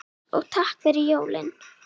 Og takk fyrir jólin.